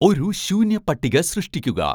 ഒരു ശൂന്യ പട്ടിക സൃഷ്ടിക്കുക